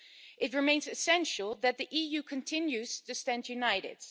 It remains essential that the EU continues to stand united.